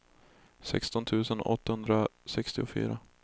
sexton tusen åttahundrasextiofyra